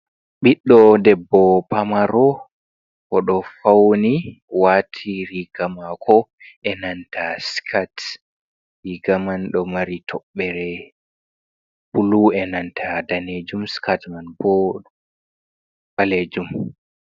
ɓiɗdo debbo pamaro o do fauni, wati riga mako e nanta skit, riga man ɗo mari toɓɓere blu e nanta danejum skit man boo ɓalejum.